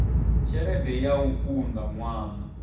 tshelede ya u unḓa ṅwana